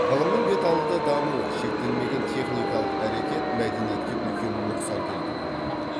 ғылымның бет алды дамуы шектелмеген техникалық әрекет мәдениетке үлкен нүксан келтіруі мүмкін